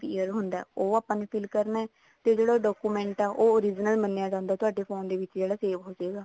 year ਹੁੰਦਾ ਉਹ ਆਪਾਂ ਨੇ fill ਕਰਨਾ ਹੈ ਤੇ ਜਿਹੜੀ ਉਹ document ਆ ਉਹ original ਮੰਨਿਆ ਜਾਂਦਾ ਤੁਹਾਡੇ phone ਦੇ ਵਿੱਚ ਜਿਹੜਾ save ਹੋਜੇਗਾ